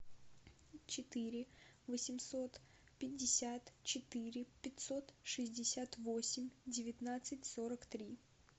четыре восемьсот пятьдесят четыре пятьсот шестьдесят восемь девятнадцать сорок три